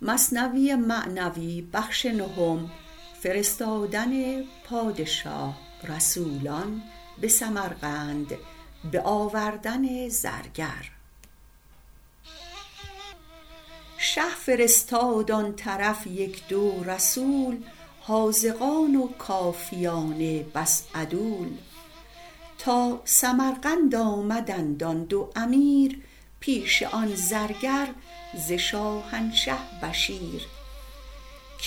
شه فرستاد آن طرف یک دو رسول حاذقان و کافیان بس عدول تا سمرقند آمدند آن دو امیر پیش آن زرگر ز شاهنشه بشیر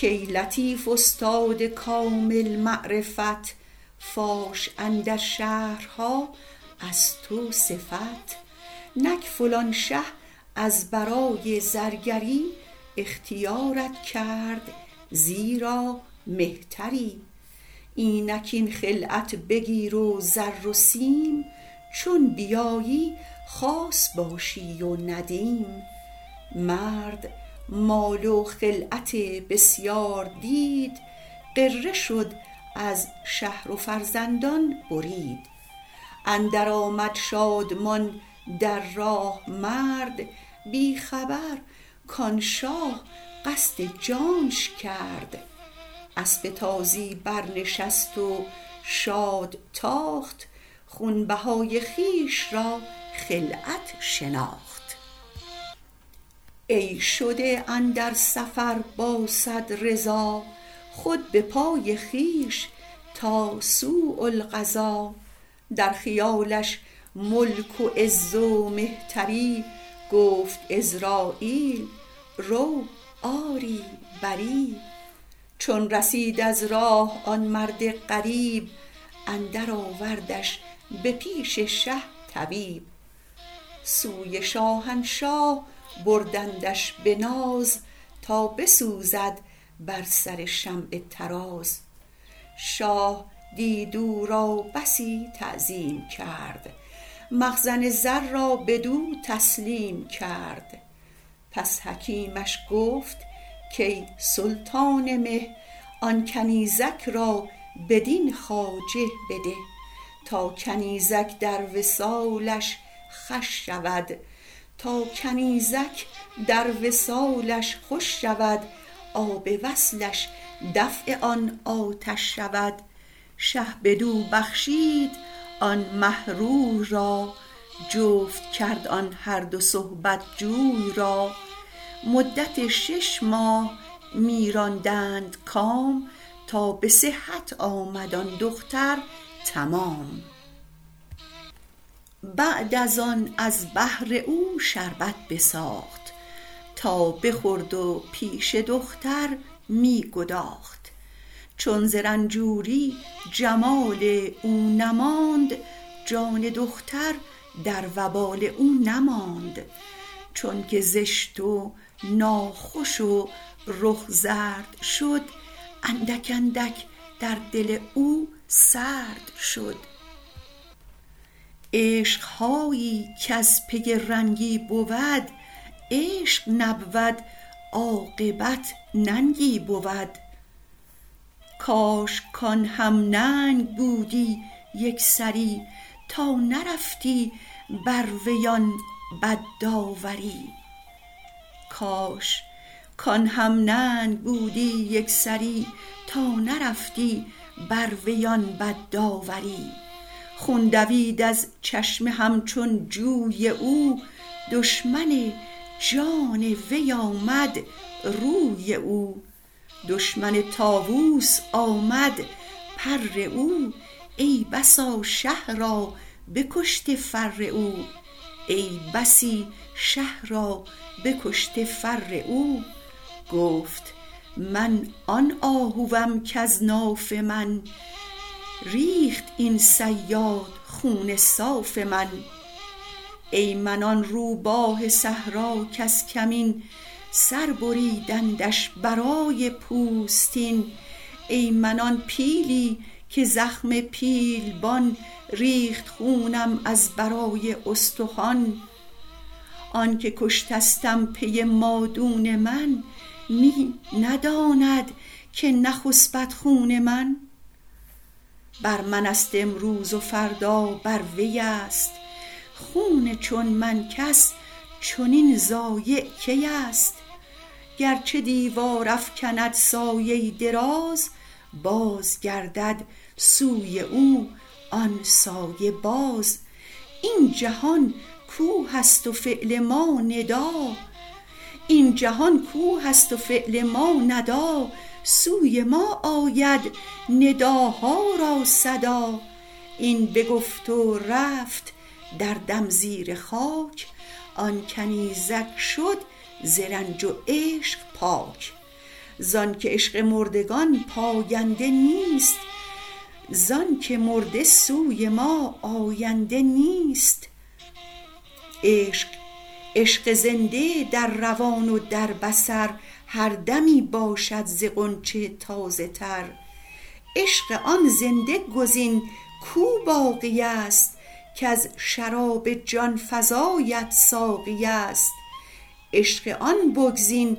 کای لطیف استاد کامل معرفت فاش اندر شهرها از تو صفت نک فلان شه از برای زرگری اختیارت کرد زیرا مهتری اینک این خلعت بگیر و زر و سیم چون بیایی خاص باشی و ندیم مرد مال و خلعت بسیار دید غره شد از شهر و فرزندان برید اندر آمد شادمان در راه مرد بی خبر کان شاه قصد جانش کرد اسپ تازی برنشست و شاد تاخت خونبهای خویش را خلعت شناخت ای شده اندر سفر با صد رضا خود به پای خویش تا سوء القضا در خیالش ملک و عز و مهتری گفت عزراییل رو آری بری چون رسید از راه آن مرد غریب اندر آوردش به پیش شه طبیب سوی شاهنشاه بردندش به ناز تا بسوزد بر سر شمع طراز شاه دید او را بسی تعظیم کرد مخزن زر را بدو تسلیم کرد پس حکیمش گفت کای سلطان مه آن کنیزک را بدین خواجه بده تا کنیزک در وصالش خوش شود آب وصلش دفع آن آتش شود شه بدو بخشید آن مه روی را جفت کرد آن هر دو صحبت جوی را مدت شش ماه می راندند کام تا به صحت آمد آن دختر تمام بعد از آن از بهر او شربت بساخت تا بخورد و پیش دختر می گداخت چون ز رنجوری جمال او نماند جان دختر در وبال او نماند چونک زشت و ناخوش و رخ زرد شد اندک اندک در دل او سرد شد عشق هایی کز پی رنگی بود عشق نبود عاقبت ننگی بود کاش کان هم ننگ بودی یکسری تا نرفتی بر وی آن بد داوری خون دوید از چشم همچون جوی او دشمن جان وی آمد روی او دشمن طاووس آمد پر او ای بسی شه را بکشته فر او گفت من آن آهوم کز ناف من ریخت این صیاد خون صاف من ای من آن روباه صحرا کز کمین سر بریدندش برای پوستین ای من آن پیلی که زخم پیلبان ریخت خونم از برای استخوان آنکه کشتستم پی مادون من می نداند که نخسپد خون من بر منست امروز و فردا بر وی است خون چون من کس چنین ضایع کی است گرچه دیوار افکند سایه دراز باز گردد سوی او آن سایه باز این جهان کوه است و فعل ما ندا سوی ما آید نداها را صدا این بگفت و رفت در دم زیر خاک آن کنیزک شد ز عشق و رنج پاک زانک عشق مردگان پاینده نیست زانک مرده سوی ما آینده نیست عشق زنده در روان و در بصر هر دمی باشد ز غنچه تازه تر عشق آن زنده گزین کو باقی است کز شراب جان فزایت ساقی است عشق آن بگزین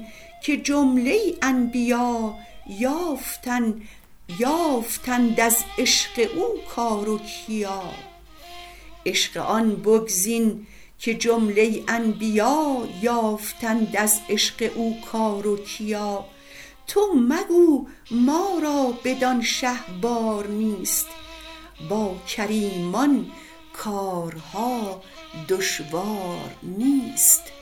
که جمله انبیا یافتند از عشق او کار و کیا تو مگو ما را بدان شه بار نیست با کریمان کارها دشوار نیست